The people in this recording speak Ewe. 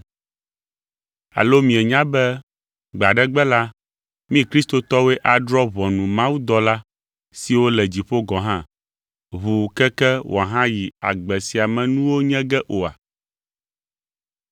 Alo mienya be gbe aɖe gbe la, mí kristotɔwoe adrɔ̃ ʋɔnu mawudɔla siwo le dziƒo gɔ̃ hã, ʋuu keke wòahayi agbe sia me nuwo nye ge oa?